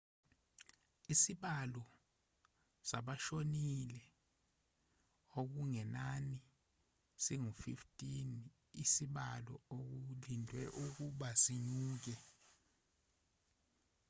isibalo sabashonile okungenani singu-15 isibalo okulindelwe ukuba sinyuke